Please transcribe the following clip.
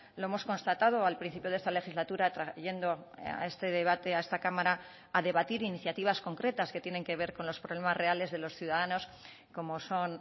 lo hemos constatado al principio de esta legislatura trayendo a este debate a esta cámara a debatir iniciativas concretas que tienen que ver con los problemas reales de los ciudadanos como son